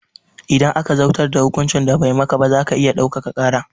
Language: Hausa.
Idan aka zautar da hukuncin da bai maka ba zaka iya ɗaukaka ƙara